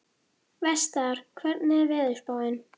Vestar, hvernig er veðurspáin?